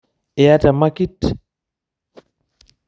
Iyata emaki?